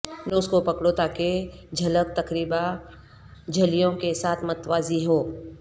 نوز کو پکڑو تاکہ جھلک تقریبا جھلیوں کے ساتھ متوازی ہو